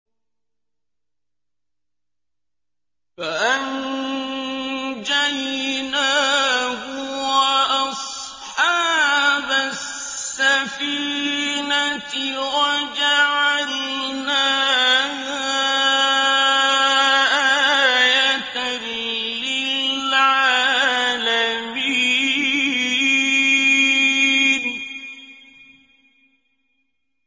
فَأَنجَيْنَاهُ وَأَصْحَابَ السَّفِينَةِ وَجَعَلْنَاهَا آيَةً لِّلْعَالَمِينَ